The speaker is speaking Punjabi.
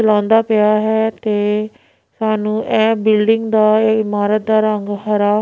ਲਾਉਂਦਾ ਪਿਆ ਹੈ ਤੇ ਸਾਨੂੰ ਇਹ ਬਿਲਡਿੰਗ ਦਾ ਇਮਾਰਤ ਦਾ ਰੰਗ ਹਰਾ--